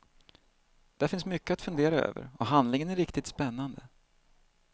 Det finns mycket att fundera över och handlingen är riktigt spännande.